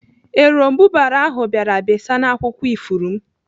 Eròmbụbara ahụ bịara besaa n'akwụkwọ ifuru m.